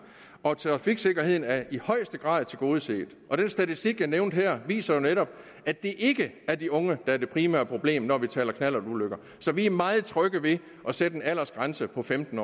og trafiksikkerheden er i højeste grad tilgodeset den statistik jeg nævnte her viser jo netop at det ikke er de unge der er det primære problem når vi taler knallertulykker så vi er meget trygge ved at sætte en aldersgrænse på femten